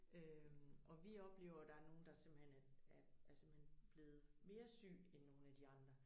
Øh og vi oplever der er nogen der simpelthen er er simpelthen blevet mere syg end nogen af de andre